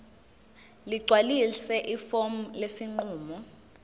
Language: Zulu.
ligcwalise ifomu lesinqumo